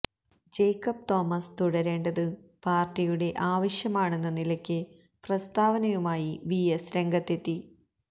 Jacob Thomas തുടരേണ്ടത് പാര്ട്ടിയുടെ ആവശ്യമാണെന്ന നിലയ്ക്ക് പ്രസ്താവനയുമായി വി എസ് രംഗത്തെത്തി